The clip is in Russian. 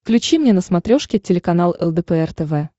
включи мне на смотрешке телеканал лдпр тв